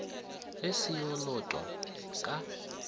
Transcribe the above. ge se yo lotwa ka